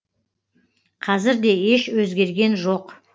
қазір де еш өзгерген жоқ